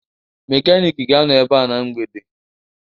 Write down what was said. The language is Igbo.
Mekaniki ga-anọ ebe a na mgbede